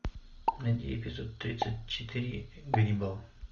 найди эпизод тридцать четыре ганнибал